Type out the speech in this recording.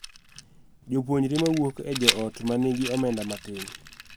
Jopuonjre ma wuok e joot ma nigi omenda matin